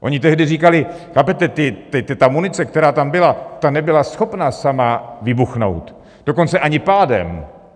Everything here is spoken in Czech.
Oni tehdy říkali - chápete: Ta munice, která tam byla, ta nebyla schopna sama vybuchnout, dokonce ani pádem.